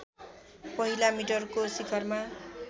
पहिला मिटरको शिखरमा